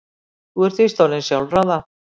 Þú ert víst orðin sjálfráða.